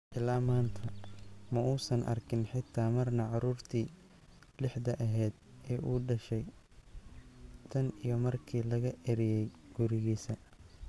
"Illaa maanta, ma uusan arkin xitaa marna caruurtii lixda ahayd ee uu dhashay tan iyo markii laga eryay gurigiisa."